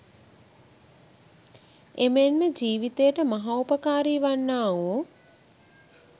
එමෙන්ම ජීවිතයට මහෝපකාරී වන්නා වූ